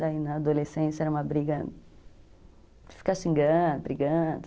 Daí na adolescência era uma briga de ficar xingando, brigando.